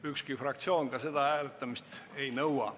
Ükski fraktsioon ka selle hääletamist ei nõua.